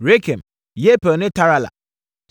Rekem, Yirpeel ne Tarala,